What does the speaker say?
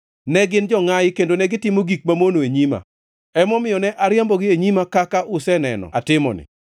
Ne gin jongʼayi kendo negitimo gik mamono e nyima. Emomiyo ne ariembogi e nyima kaka useneno atimoni.